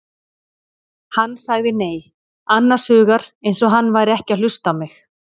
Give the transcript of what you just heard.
Hann sagði nei, annars hugar eins og hann væri ekki að hlusta á mig.